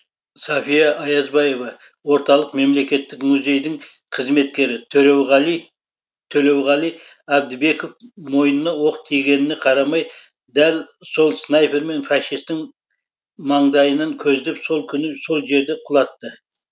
сафия аязбаева орталық мемлекеттік музейдің қызметкері төлеуғали әбдібеков мойныны оқ тигеніне қарамай дәл сол снайпермен фашистің маңдайының көздеп сол күні сол жерде құлатты